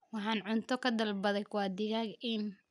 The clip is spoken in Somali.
Waxaan cunto ka dalbaday Kwa digaag-inn